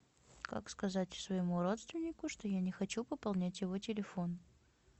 как сказать своему родственнику что я не хочу пополнять его телефон